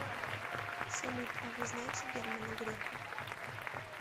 салют а вы знаете германа греха